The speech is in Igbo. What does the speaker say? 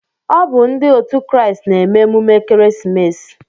Ọ bu ndi òtù Christ n'eme emume Ekeresimesi